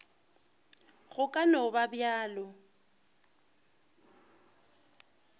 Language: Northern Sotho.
go ka no ba bjalo